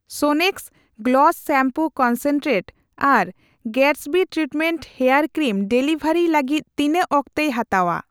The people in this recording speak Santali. ᱥᱳᱱᱮᱠᱥ ᱜᱞᱚᱥ ᱥᱤᱢᱯᱩ ᱠᱚᱱᱥᱮᱱᱴᱨᱮᱴ ᱟᱨ Gatsby treatment hair cream delivery ᱞᱟᱹᱜᱤᱫ ᱛᱤᱱᱟᱹᱜ ᱚᱠᱛᱮᱭ ᱦᱟᱛᱟᱣᱟ ?